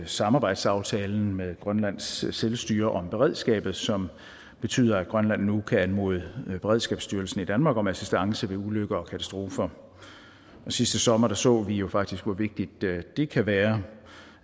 samarbejdsaftalen med grønlands selvstyre om beredskabet som betyder at grønland nu kan anmode beredskabsstyrelsen i danmark om assistance ved ulykker og katastrofer sidste sommer så vi jo faktisk hvor vigtigt det kan være